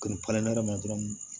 Kuruɲɛri ma dɔrɔn